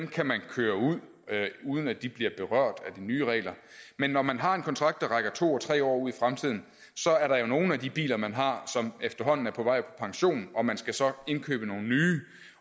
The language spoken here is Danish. kan man køre ud med uden at de bliver berørt af de nye regler men når man har en kontrakt der rækker to og tre år ud i fremtiden så er der jo nogle af de biler man har som efterhånden er på vej på pension og man skal så indkøbe nogle nye